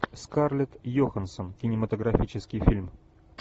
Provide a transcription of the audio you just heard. скарлетт йоханссон кинематографический фильм